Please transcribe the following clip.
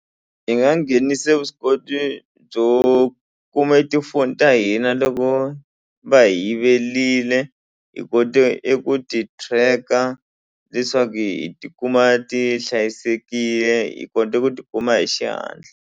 Hi nga nghenise vuswikoti byo kume tifoni ta hina loko va hi yivelile hi kote eku ti tracker leswaku hi tikuma ti hlayisekile hi kota ku ti kuma hi xihatla.